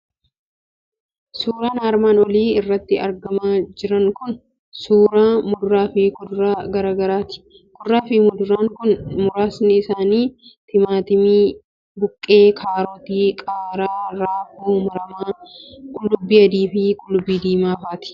Suuraan armaan olii irratti argamaa jiran kun suuraa muduraa fi kuduraa gara garaati. Kuduraa fi muduraan kun muraasni isaanii timaatimii, buqqee, kaarotii, qaaraa, raafuu maramaa, qullubbii adii fi qullubbii diimaa faati.